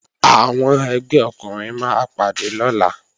Àwọn ẹgbẹ́ ọkùnrin máa pàdé lọ́la